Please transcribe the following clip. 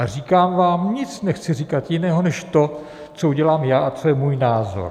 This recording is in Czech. A říkám vám, nic nechci říkat jiného než to, co udělám já a co je můj názor.